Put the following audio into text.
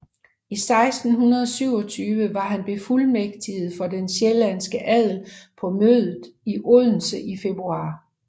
I 1627 var han befuldmægtiget for den sjællandske adel på mødet i Odense i februar